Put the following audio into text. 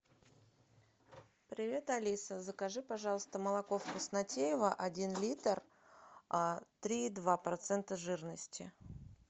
привет алиса закажи пожалуйста молоко вкуснотеево один литр три и два процента жирности